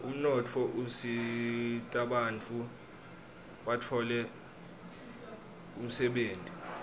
umnotfo usitabantfu batfole umsebenti